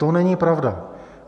To není pravda.